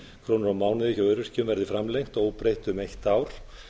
krónur á mánuði hjá öryrkjum verði framlengd óbreytt um eitt ár